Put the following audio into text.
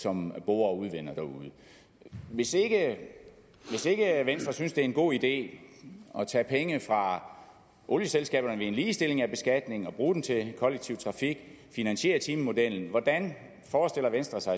som borer og udvinder derude hvis ikke venstre synes det er en god idé at tage penge fra olieselskaberne ved en ligestilling af beskatningen og bruge den til kollektiv trafik finansiere timemodellen hvordan forestiller venstre sig